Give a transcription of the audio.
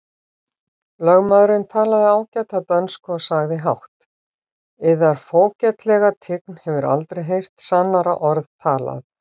Lögmaðurinn talaði ágæta dönsku og sagði hátt:-Yðar fógetalega tign hefur aldrei heyrt sannara orð talað!